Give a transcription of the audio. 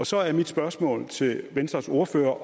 så er mit spørgsmål til venstres ordfører